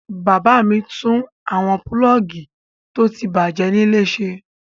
Bàbá mi tún gbogbo àwọn pulọ́ọ́gì tó ti bàjẹ́ nílé ṣe.